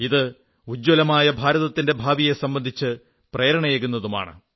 ഇത് ഉജ്ജ്വലമായ ഭാരതത്തിന്റെ ഭാവിയെ സംബന്ധിച്ച് പ്രേരണയേകുന്നതുമാണ്